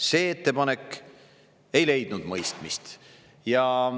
See ettepanek ei leidnud mõistmist.